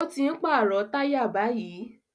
Ó ti ń pàrọ̀ táyà báyìí